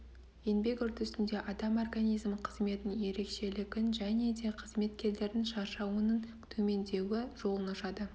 еңбек үрдісінде адам организмі қызметінің ерекшелігін және де қызметкерлердің шаршауының төмендеуі жолын ашады